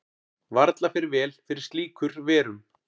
Varla fer vel fyrir slíkur verum.